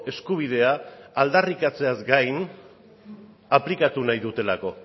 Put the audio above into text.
eskubidea aldarrikatzeaz gain aplikatu nahi dutelako